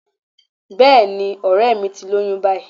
Bẹ́ẹ̀ni, ọ̀rẹ́ẹ̀ mi ti lóyún báyìí.